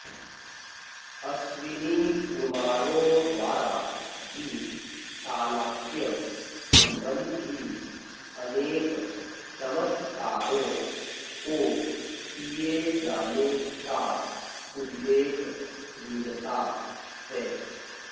अश्विनीकुमारों द्वारा भी शालाक्य सम्बन्धी अनेक चमत्कारों को किये जाने का उल्लेख मिलता है